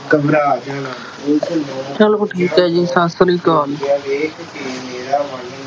ਘਬਰਾ ਜਾਣਾ- ਉਸਨੂੰ ਆਉਂਦਿਆਂ ਹੋਇਆਂ ਵੇਖ ਕੇ ਮੇਰਾ ਮਨ ।